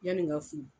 Yanni n ka furu